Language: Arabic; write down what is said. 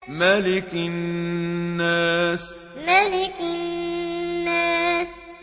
مَلِكِ النَّاسِ مَلِكِ النَّاسِ